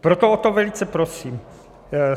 Proto o to velice prosím.